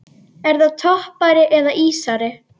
Er það toppari eða ísari?